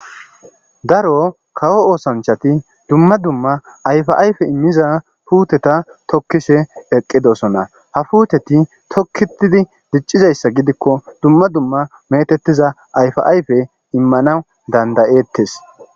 daro kawo oosanchati dumma dumma ayfa ayfe immiza puuteta tokkise eqqidosona ha puuteti tokkitidi diccizayssa gidikko dumma dumma metettiza ayfa ayfe immana danda'ettes